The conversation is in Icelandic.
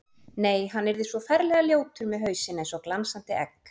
Nei, hann yrði svo ferlega ljótur með hausinn eins og glansandi egg.